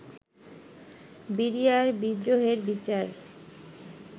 BDR বিদ্রোহের বিচার